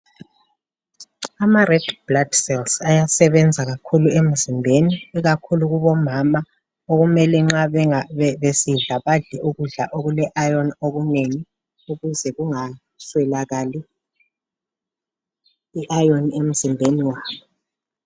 Ama red blood cells ayasebenza kakhulu emzimbeni ikakhulu kubomama okumele nxa benga bebesidla badle okule iron kunengi ukuze kungaswelakali i iron emzimbeni wabo.